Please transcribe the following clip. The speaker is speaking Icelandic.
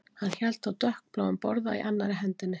Hann hélt á dökkbláum borða í annarri hendinni